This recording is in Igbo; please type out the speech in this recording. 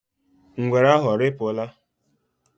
Ngwere ahụ arịpụla?